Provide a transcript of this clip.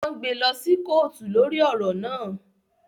Wọn gbé lọ sí kootu lórí ọrọ náà